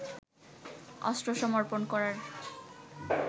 অস্ত্র সমর্পণ করার